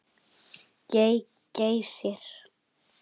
GEY- Geysir.